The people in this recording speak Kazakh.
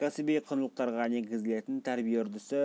кәсіби құндылықтарға негізделетін тәрбие үрдісі